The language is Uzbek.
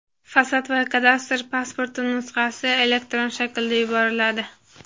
fasad va kadastr pasporti nusxasi elektron shaklda yuboriladi.